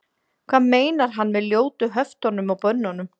hvað meinar hann með ljótu höftunum og bönnunum